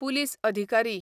police अधिकारी